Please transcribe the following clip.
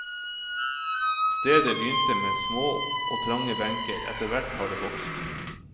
Stedet begynte med små og trange benker, etterhvert har det vokst.